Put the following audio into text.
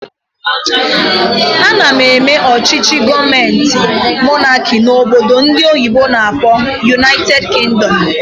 Ana eme ọchịchị gọọmenti monáki n'obodo ndị oyibo n'akpọ "United Kingdom"